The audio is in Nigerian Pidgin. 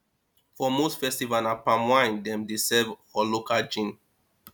for most festival na palm wine dem dey serve or local gin